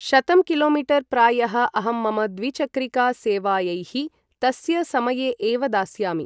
शतं किलोमीटर् प्रायः अहं मम द्विचक्रिका सेवायैः तस्य समये एव दास्यामि ।